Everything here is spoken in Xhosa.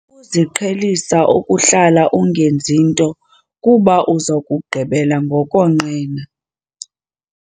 Suziqhelisa ukuhlala ungenzi nto kuba uza kugqibela ngokonqena.